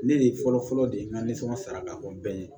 Ne de ye fɔlɔ fɔlɔ de n ka nisɔngɔn sara ka fɔ n bɛɛ ye